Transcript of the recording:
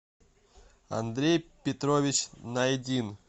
андрей петрович найдин